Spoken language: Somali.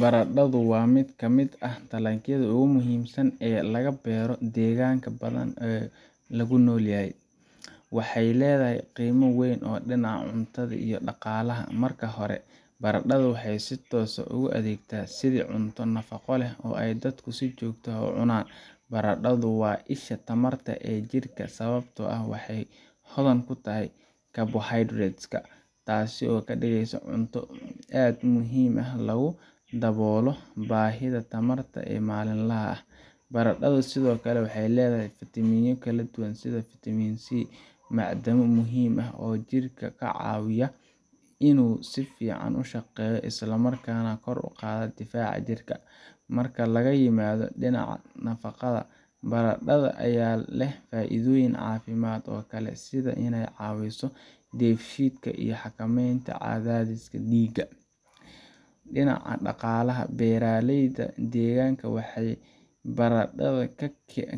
Baradhadu waa mid ka mid ah dalagyada ugu muhiimsan ee laga beero deegaan badan oo aan ku noolahay. Waxay leedahay qiimo weyn oo dhinaca cuntada iyo dhaqaalaha ah. Marka hore, baradhada waxay si toos ah ugu adeegtaa sidii cunto nafaqo leh oo ay dadku si joogto ah u cunaan. Baradhadu waa isha tamarta ee jidhka sababtoo ah waxay hodan ku tahay carbohydrates-ka, taas oo ka dhigaysa cunto aad u muhiim ah oo lagu daboolo baahida tamarta ee maalinlaha ah. Baradhadu sidoo kale waxay leedahay fiitamiinno kala duwan sida fitamiin C iyo macdano muhiim ah oo jidhka ka caawiya inuu si fiican u shaqeeyo, isla markaana kor u qaado difaaca jirka. Marka laga yimaado dhinaca nafaqada, baradhada ayaa leh faa’iidooyin caafimaad oo kale sida inay ka caawiso dheefshiidka iyo xakameynta cadaadiska dhiigga. Dhinaca dhaqaalaha, beeralayda deegaanka waxay baradhada